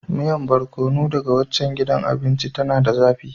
Miyan Barkono daga waccan gidan abinci, tana da zafi.